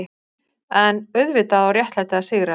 EN auðvitað á réttlætið að sigra.